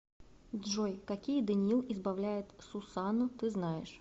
джой какие даниил избавляет сусанну ты знаешь